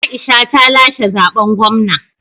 Aisha ta lashe zaɓen gwamna